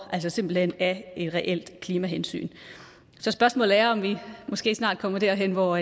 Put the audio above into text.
simpelt hen af et reelt klimahensyn så spørgsmålet er om vi måske snart kommer derhen hvor